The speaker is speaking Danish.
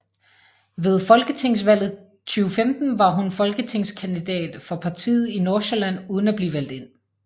Ved folketingsvalget 2015 var hun folketingskandidat for partiet i Nordsjælland uden at blive valgt ind